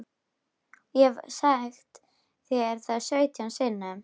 Ég hef sagt þér það sautján sinnum.